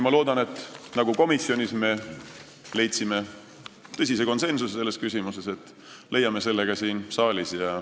Ma loodan, et nagu me komisjonis leidsime selles küsimuses suure konsensuse, me leiame selle ka siin saalis.